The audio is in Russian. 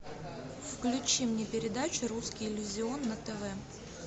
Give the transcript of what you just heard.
включи мне передачу русский иллюзион на тв